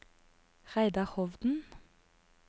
Reidar Hovden